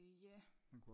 Ja